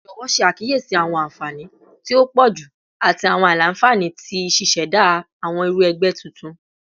Jọwọ ṣe akiyesi awọn anfani ti o pọju ati awọn aila-nfani ti ṣiṣẹda awọn iru ẹgbẹ tuntun